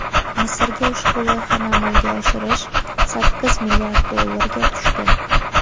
Misrga ushbu loyihani amalga oshirish sakkiz milliard dollarga tushdi.